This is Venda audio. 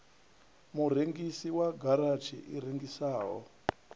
murengisi wa garatshi i rengisaho